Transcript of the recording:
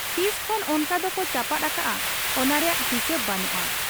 ᱛᱤᱥᱠᱷᱚᱱ ᱚᱱᱠᱟ ᱫᱚᱠᱚ ᱪᱟᱯᱟᱫ ᱟᱠᱟᱜ ᱟ ᱚᱱᱟ ᱨᱮᱭᱟᱜ ᱦᱤᱥᱟᱹᱵᱽ ᱵᱟᱹᱱᱩᱜ ᱟ ᱾